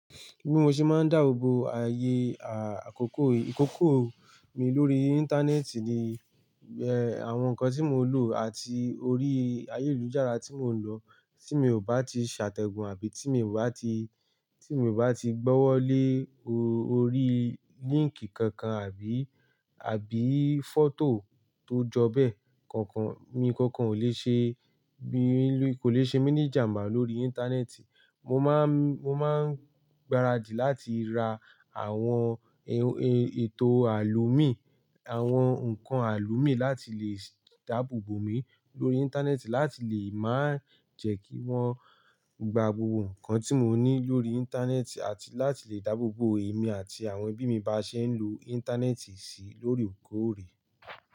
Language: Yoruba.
Bí mo ṣe máa ń dáàbò bo ààyè, à, àkókò, ìkòkò mi lórí Íńtánẹ́ẹ̀tì ni, ẹ, àwọn nkan tí mo lò àti orí ayélujára tí mò ń lọ tí mi ò bá ti ṣàtẹ̀gùn àbí tí mi ò bá ti, tí mi ò bá ti gbọ́wọ́ lé orí líǹkì kankan àbí, àbí fọ́tò tó jọ bẹ́ẹ̀. Kankan, nkankan ò lè ṣe, kò lè ṣe mí ní ijàmbá lórí Íńtánẹ́ẹ̀tì. Mo máa ń, mo máa ń gbáradì láti ra àwọn ètò àlò míi, àwọn ǹkan àlò míi láti lè dáàbò bo mi lórí Íńtánẹ́ẹ̀tì láti lè maa jẹ́ kí wọ́n gba gbogbo nkan tí mo ní lórí Íńtánẹ́ẹ̀tì àti láti lè dáàbò bo èmi àti àwọn ẹbí mi bá ṣe ń lo Íńtánẹ́ẹ̀tì sí lóore koore.